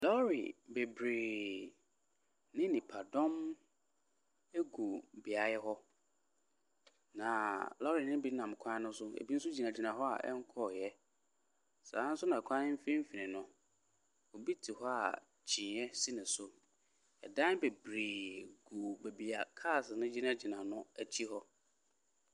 Lɔre bebree ne nnipadɔm gu beaeɛ hɔ, na lɔre no bi nam kwan no so, ebi nso gyinagyina hɔ a ɛbkɔeɛ. Saa ara nso na kwan no mfimfini no, obi te hɔ a kyiniiɛ si no so. Dan bebree gu baabi a cars no gyinagyina no akyi hɔ.